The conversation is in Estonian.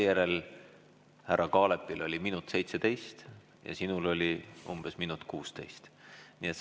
" Härra Kaalepi oli minut ja 17 sekundit, sinul oli umbes minut ja 16 sekundit.